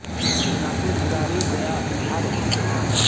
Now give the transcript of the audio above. ददनापुर गुरारू गया बिहार स्थित एक गाँव है